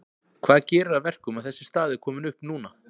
Hvað gerir að verkum að þessi staða er komin upp núna?